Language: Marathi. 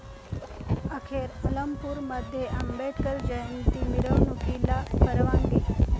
अखेर अलमपूरमध्ये आंबेडकर जयंती मिरवणुकीला परवानगी